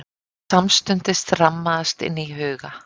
Samstundis rammaðist inn í huga